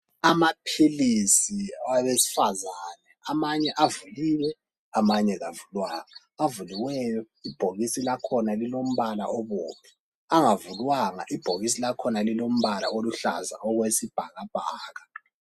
Amaphilisi awabesifazana amanye avuliwe amanye awavulwanga avuliweyo ibhokisi lakhona libomvu angavulwanga ibhokisi lakhona lilombala oluhlaza okwesibhakabhaka.